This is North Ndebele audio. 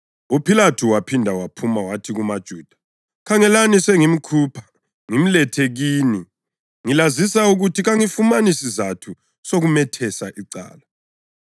UPhilathu waphinda waphuma wathi kumaJuda, “Khangelani, sengimkhupha ngimlethe kini ngilazisa ukuthi kangifumani sizatho sokumethesa icala.”